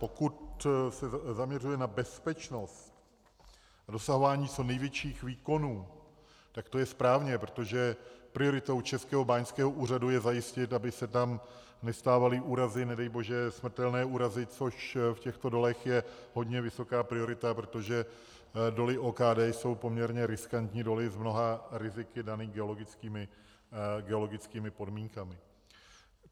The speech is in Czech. Pokud se zaměřuje na bezpečnost a dosahování co největších výkonů, tak to je správně, protože prioritou Českého báňského úřadu je zajistit, aby se tam nestávaly úrazy, nedej bože smrtelné úrazy, což v těchto dolech je hodně vysoká priorita, protože doly OKD jsou poměrně riskantní doly s mnoha riziky danými geologickými podmínkami.